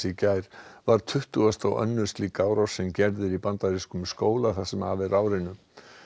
í gær var tuttugasta og önnur slík árás sem gerð er í bandarískum skóla það sem af er árinu